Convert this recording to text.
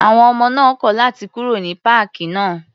À̀wọn ọmọ náà kọ̀ láti kúrò ní páàkì náà.